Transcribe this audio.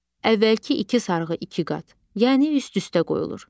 Əvvəlki iki sarğı iki qat, yəni üst-üstə qoyulur.